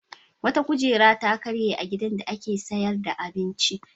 Wata kujera ta karye a gidan da ake sayar da abinci.